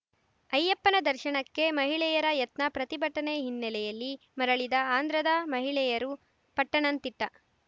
ಅಯ್ಯಪ್ಪನ ದರ್ಶನಕ್ಕೆ ಮಹಿಳೆಯರ ಯತ್ನ ಪ್ರತಿಭಟನೆ ಹಿನ್ನೆಲೆಯಲ್ಲಿ ಮರಳಿದ ಆಂಧ್ರದ ಮಹಿಳೆಯರು ಪಟ್ಟಣಂತಿಟ್ಟ